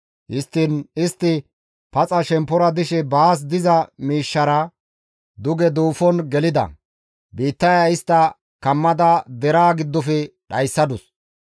Histtiin istti shemppora paxa dishe baas diza miishshaara duge duufon gelida; biittaya istta kammada deraa giddofe dhayssadus.